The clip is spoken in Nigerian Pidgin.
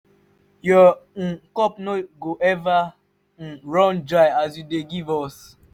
your um cup no go eva um run dry as you dey give us.